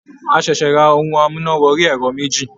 A ṣẹ̀ṣẹ̀ ra ohun amúná wọrí ẹ̀rọ méjì.